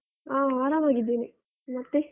ಹ ಆರಾಮಾಗಿದೀನಿ ಮತ್ತೆ?